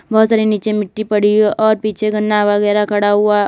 बहुत सारी नीचे मिट्टी पड़ी है और पीछे गन्ना वगैरह खड़ा हुआ है।